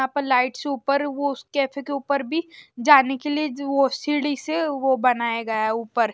यहां पर लाइट से ऊपर वो उस कैफे के ऊपर भी जाने के लिए जो वो सीढ़ी से वो बनाया गया ऊपर।